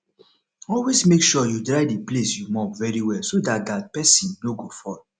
always make sure you dry the place you mop very well so dat dat person no go fall